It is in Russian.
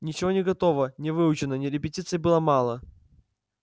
ничего не готово не выучено ни репетиций было мало